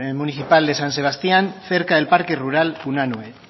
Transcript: municipal de san sebastián cerca del parque rural unanue